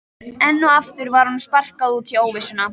Enn og aftur var honum sparkað út í óvissuna.